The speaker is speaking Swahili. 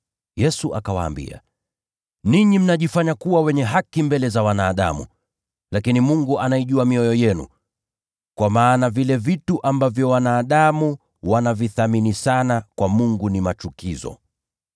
Yesu akawaambia, “Ninyi mnajionyesha kuwa wenye haki mbele za wanadamu, lakini Mungu anaijua mioyo yenu. Kwa maana vile vitu ambavyo wanadamu wanavithamini sana, kwa Mungu ni machukizo.